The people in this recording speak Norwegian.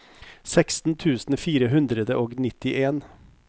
seksten tusen fire hundre og nittien